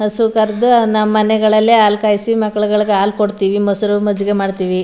ಹಸು ಕರ್ದು ನಮ್ ಮನೆಗಳಲ್ಲಿ ಹಾಲ್ಕಾಯ್ಸಿ ಮಕ್ಕಳುಗಳಿಗೆ ಆಲ್ ಕೊಡ್ತಿವಿ ಮೊಸರು ಮಜ್ಗೆ ಮಾಡ್ತಿವಿ .